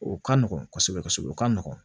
O ka nɔgɔn kosɛbɛ kosɛbɛ o ka nɔgɔn